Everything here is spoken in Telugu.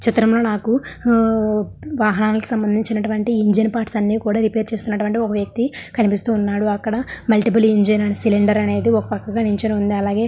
ఈ చిత్రం లో నాకు హూ వాహనాలకు సంబంధించినటువంటి ఇంజిన్ పార్ట్స్ అన్ని కూడా రిపేర్ చేస్తున్నటువంటి వ్యక్తి కనిపిస్తూ ఉన్నాడు అక్కడ ముల్టీపుల్ ఇంజిన్ సిలిండర్ ఒక పక్కగా నిల్చొని ఉంది అలాగే --